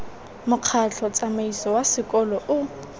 mokgatlho tsamaiso wa sekolo o